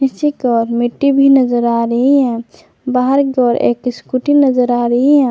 पीछे की ओर मिट्टी भी नजर आ रही है बाहर की ओर एक स्कूटी नजर आ रही है।